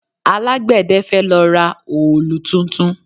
Alágbẹ̀dé fẹ́ lọ ra òòlù tuntun